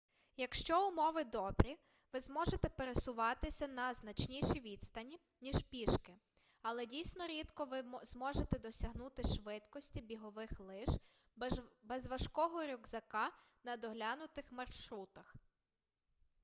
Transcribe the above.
якщо умови добрі ви зможете пересуватися на значніші відстані ніж пішки але дійсно рідко ви зможете досягнути швидкості бігових лиж без важкого рюкзака на доглянутих маршрутах